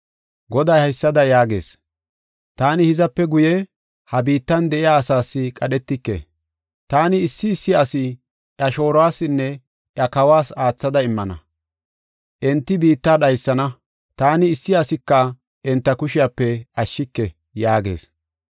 Goday haysada yaagees: “Taani hizape guye ha biittan de7iya asaas qadhetike. Taani issi issi ase iya shooruwasinne iya kawas aathada immana. Enti biitta dhaysana; taani issi asika enta kushiyape ashshike” yaagees.